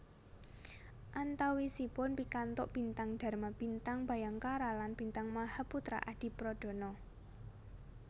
Antawisipun pikantuk Bintang Dharma Bintang Bhayangkara lan Bintang Mahaputra Adipradana